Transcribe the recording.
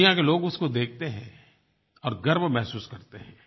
दुनिया के लोग उसको देखते हैं और गर्व महसूस करते हैं